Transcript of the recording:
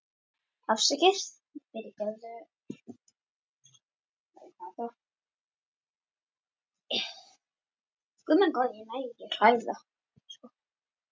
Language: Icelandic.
Ég vissi þá að ég var sár á bakinu en ég fann ekki til.